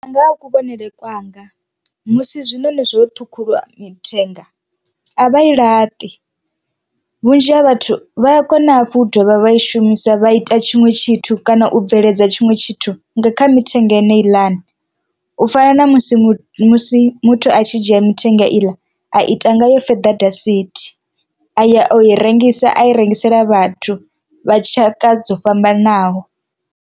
Nga ha kuvhonele kwanga musi zwinoni zwo ṱhukhuliwa mithenga a vha i laṱi vhunzhi ha vhathu vha a kona hafhu u dovha vha i shumisa vha ita tshiṅwe tshithu kana u bveledza tshiṅwe tshithu kha mithenga ine heiḽani u fana na musi a tshi dzhia mithenga iḽa a ita ngayo fether dasithi a ya u i rengisa a i rengisela vhathu vha tshaka dzo fhambananaho.